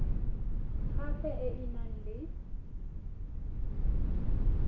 sap e e nang le